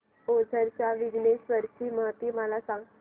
ओझर च्या विघ्नेश्वर ची महती मला सांग